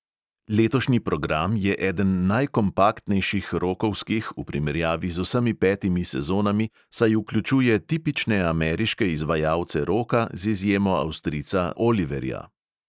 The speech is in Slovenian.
Letošnji program je eden najkompaktnejših rokovskih v primerjavi z vsemi petimi sezonami, saj vključuje tipične ameriške izvajalce roka z izjemo avstrijca oliverja.